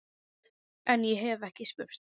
En- ég hef ekki spurt.